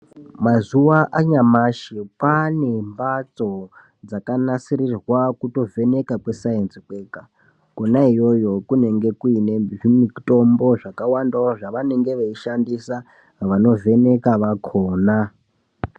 Mazuva anyamashi kwaane mbatso dzakanasirirwa kutovheneka kwesainzi kwega, kona iyoyo kunenge kuine zvimitombo zvakawandawo zvavanenge veishandisa vanovheneka vakona.